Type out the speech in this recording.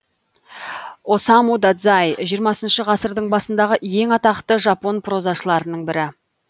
осаму дадзай жиырмасыншы ғасырдың басындағы ең атақты жапон прозашыларының бірі